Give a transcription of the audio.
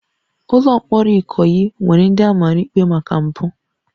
Ụlọ mkpọrọ Ikoyi nwere ndị a mara ikpe maka mpụ